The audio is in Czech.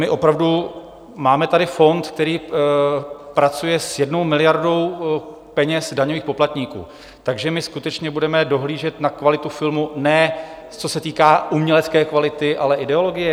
My opravdu - máme tady fond, který pracuje s jednou miliardou peněz daňových poplatníků, takže my skutečně budeme dohlížet na kvalitu filmu, ne co se týká umělecké kvality, ale ideologie?